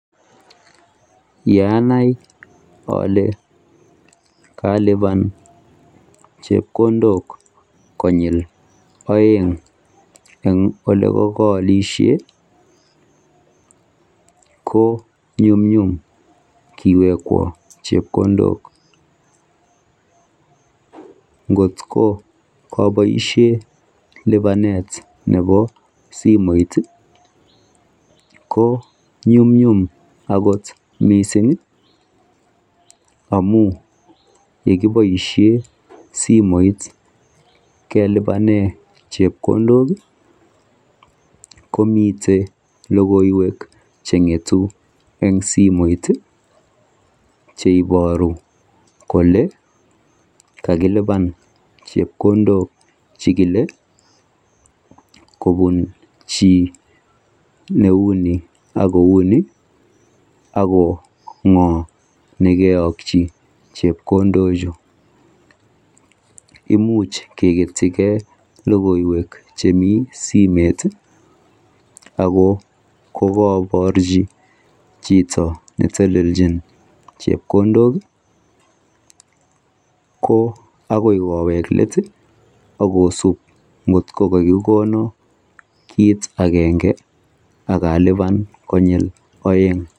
yeanai ole kalibaan chepkondook konyiil oeng en elekokolishen, ko nyumnyum iwekwoon chepkondook, ngot koboishen libaneet nebo simoit iih, ko nyumnyum agot mising iih amuun yegiboishen simoit kelibanen chepkondook iih komiten logoiweek chengetu en simoit iih cheiboru kole kagilibaan chepkondook chekile kobuun chi neuu ni ak kouu ni ago ngoo negeyokchi chepkondook chu, imuch kegetyi gee logoiweek chemii simeet ago kogoborchi chito netelelchin chepkondook iih, ko agoi koweek leet iih ak kosuub ngit kogagigonoi kiit agenge ak alibaan konyil oeng.